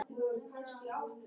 """Já, er munur á því?"""